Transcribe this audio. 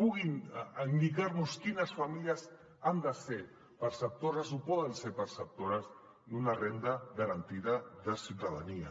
indicar nos quines famílies han de ser perceptores o poden ser perceptores d’una renda garantida de ciutadania